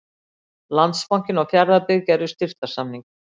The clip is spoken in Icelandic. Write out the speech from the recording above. Landsbankinn og Fjarðabyggð gerðu í dag styrktarsamning.